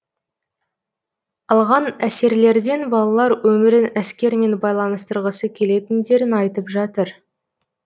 алған әсерлерден балалар өмірін әскермен байланыстырғысы келетіндерін айтып жатыр